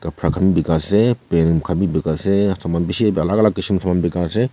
khapra bikai ase pen khan bi bikai ase saman bishi alak alak kisim saman bikai ase.